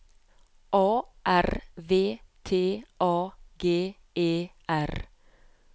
A R V T A G E R